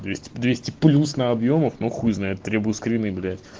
двести плюс на объёмов ну хуй знает требую скрины блять